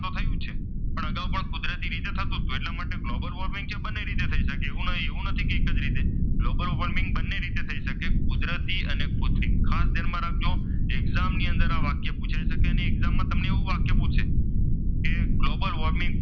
global warming છે તે બંને રીતે થઈ શકે છે એવું નથી કે એક જ રીતે ગ્લોબલ વોર્મિંગ બંને રીતે થઈ શકે કુદરતી અને કુત્રિમ ખાસ ધ્યાન રાખજો exam ની અંદર આ વાક્ય પુછાય છે અને exam ની અંદર તમને એવું વાક્ય પૂછે કે ગ્લોબલ વોર્મિંગ,